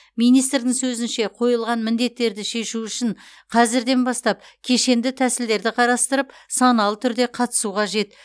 министрдің сөзінше қойылған міндеттерді шешу үшін қазірден бастап кешенді тәсілдерді қарастырып саналы түрде қатысу қажет